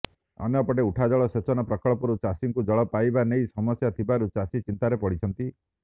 ଅନ୍ୟପଟେ ଉଠାଜଳ ସେଚନ ପ୍ରକଳ୍ପରୁ ଚାଷୀଙ୍କୁ ଜଳ ପାଇବା ନେଇ ସମସ୍ୟା ଥିବାରୁ ଚାଷୀ ଚିନ୍ତାରେ ପଡ଼ିଛନ୍ତି